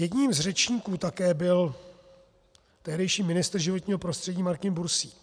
Jedním z řečníků také byl tehdejší ministr životního prostředí Martin Bursík.